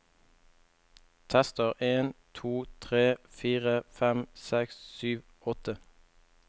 Tester en to tre fire fem seks sju åtte